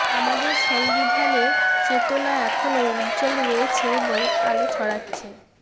আমাদের সংবিধানের চেতনা এখনও উজ্জ্বল রয়েছে এবং আলো ছড়াচ্ছে